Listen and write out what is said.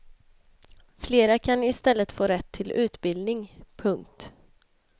Flera kan i stället få rätt till utbildning. punkt